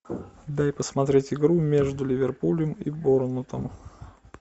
дай посмотреть игру между ливерпулем и борнмутом